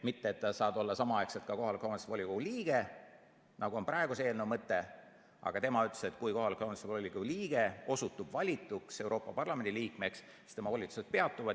Mitte et ta saab olla samaaegselt ka kohaliku omavalitsuse volikogu liige, nagu on praeguse eelnõu mõte, vaid Urmas Reinsalu ütles, et kui kohaliku omavalitsuse volikogu liige osutub valituks Euroopa Parlamendi liikmeks, siis tema volitused peatuvad.